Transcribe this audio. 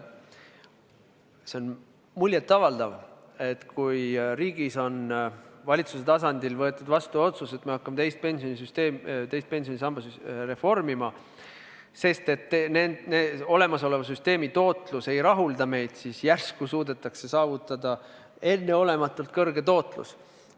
See on muljet avaldav, kui riigis on valitsuse tasandil võetud vastu otsus, et me hakkame teist pensionisammast reformima, sest olemasoleva tootlus ei rahulda meid, siis järsku suudetakse saavutada enneolematult kõrge tootlus.